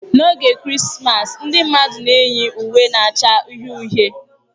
N'oge Krismas ndị mmadụ na-eyi uwe na-acha uhie uhie.